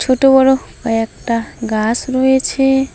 ছোট বড়ো কয়েকটা গাছ রয়েছে।